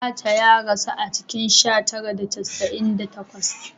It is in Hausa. Abaca ya rasu a cikin sha tara da casa’in da takwas